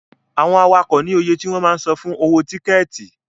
Àwọn awakọ̀ ní oye tí wọ́n máa ń san fún owó tíkẹ̀tì.